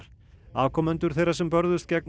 afkomendur þeirra sem börðust gegn